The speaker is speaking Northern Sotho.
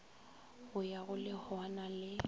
go ya go lehwana le